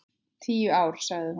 Tíu ár, sagði hún.